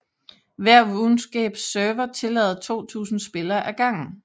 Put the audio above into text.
Hver RuneScape server tillader 2000 spillere ad gangen